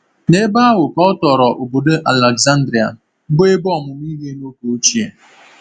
N’ebe ahụ ka ọ tọrọ obodo Alexandria, bụ́ ebe ọmụmụ ihe n’oge ochie.